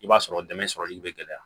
I b'a sɔrɔ dɛmɛ sɔrɔli be gɛlɛya